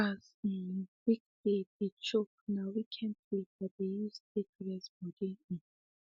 as um weekday dey choke na weekend sleep i dey use take reset body um